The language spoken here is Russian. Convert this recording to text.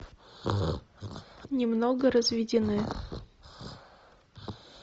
немного разведены